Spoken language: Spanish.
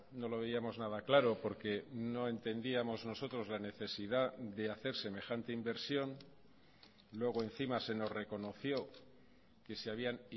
no lo veíamos nada claro porque no entendíamos nosotros la necesidad de hacer semejante inversión luego encima se nos reconoció que se habían